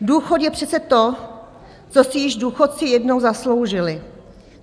Důchod je přece to, co si již důchodci jednou zasloužili.